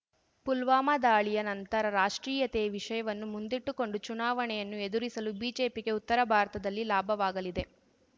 ಪುಲ್ವಾಮಾ ದಾಳಿಯ ನಂತರ ರಾಷ್ಟ್ರೀಯತೆಯ ವಿಷಯವನ್ನು ಮುಂದಿಟ್ಟುಕೊಂಡು ಚುನಾವಣೆಯನ್ನು ಎದುರಿಸಲು ಬಿಜೆಪಿಗೆ ಉತ್ತರ ಭಾರತದಲ್ಲಿ ಲಾಭವಾಗಲಿದೆ